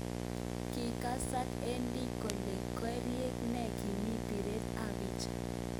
Kokasak Eddie kolen karik ne kiim biret ab bicha